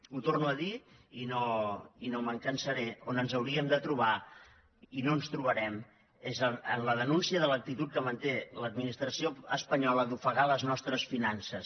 ho torno a dir i no me’n cansaré on ens hauríem de trobar i no ens hi trobarem és en la denúncia de l’actitud que manté l’administració espanyola d’ofegar les nostres finances